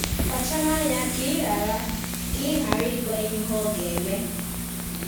Kpachara anya ka ị ghara ka ị ghara ịgwa ya ihe ọ ga-eme.